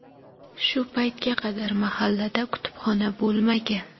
Shu paytga qadar mahallada kutubxona bo‘lmagan.